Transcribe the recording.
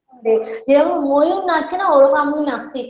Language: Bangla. যেরকম ময়ূর নাচে না ওরকম আমিও নাচতে ই